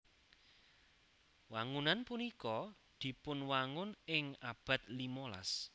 Wangunan punika dipunwangun ing abad limolas